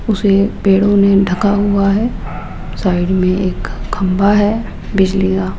उसे पेड़ों में ढका हुआ है साइड में एक खंभा है बिजली का--